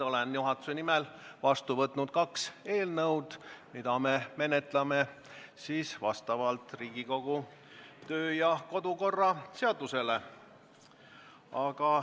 Olen juhatuse nimel vastu võtnud kaks eelnõu, mida me menetleme vastavalt Riigikogu kodu- ja töökorra seadusele.